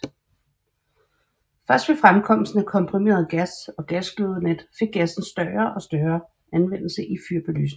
Først ved fremkomsten af komprimeret gas og gasglødenet fik gassen større og større anvendelse i fyr belysningen